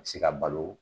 A bɛ se ka balo